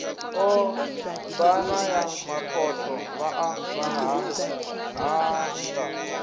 ombana ya makhotho vhaḽa vhaṱhannga